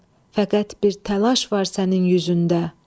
Səlim, fəqət bir təlaş var sənin üzündə.